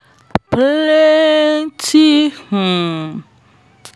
plenty um